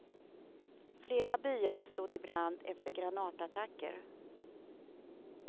Flera byar stod i brand efter granatattacker.